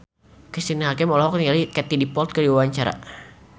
Cristine Hakim olohok ningali Katie Dippold keur diwawancara